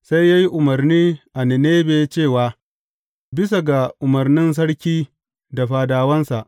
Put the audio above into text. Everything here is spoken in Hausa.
Sai ya yi umarni a Ninebe cewa, Bisa ga umarnin sarki da fadawansa.